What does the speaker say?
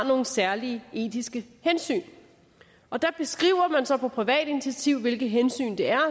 nogle særlige etiske hensyn og der beskriver man så på privat initiativ hvilke hensyn det er